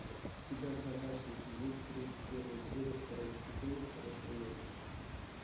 у тебя в загашнике есть тридцать первая серия второго сезона хорошее место